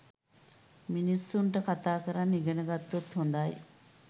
මිනිසුන්ට කතා කරන්න ඉගෙන ගත්තොත් හොඳයි.